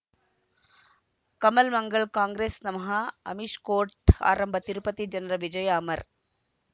ಕಮಲ್ ಮಂಗಳ್ ಕಾಂಗ್ರೆಸ್ ನಮಃ ಅಮಿಷ್ ಕೋರ್ಟ್ ಆರಂಭ ತಿರುಪತಿ ಜನರ ವಿಜಯ ಅಮರ್